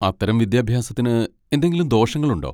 അത്തരം വിദ്യാഭ്യാസത്തിന് എന്തെങ്കിലും ദോഷങ്ങളുണ്ടോ?